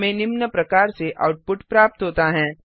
हमें निम्न प्रकार से आउटपुट प्राप्त होता हैं